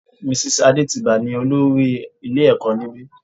Mrs Adetiba ní olórí ilé ẹ̀kọ́ níbi.